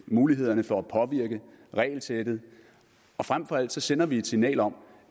mulighederne for at påvirke regelsættet og frem for alt sender vi et signal om